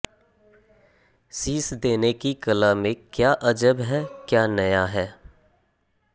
शीश देने की कला में क्या अजब है क्या नया है